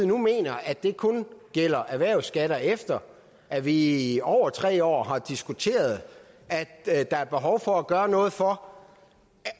nu mener at det kun gælder erhvervsskatter efter at vi i over tre år har diskuteret at der er behov for at gøre noget for